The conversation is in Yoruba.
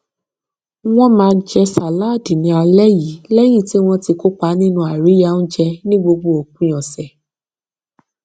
wọn máa jẹ sàláàdì ní alẹ yìí lẹyìn tí wọn ti kópa nínú àríyá oúnjẹ ní gbogbo òpin ọsẹ